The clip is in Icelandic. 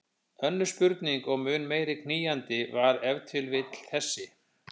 Önnur spurning og mun meira knýjandi var ef til vill þessi